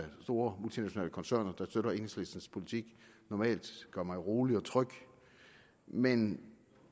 store multinationale koncerner der støtter enhedslistens politik normalt gør mig rolig og tryg men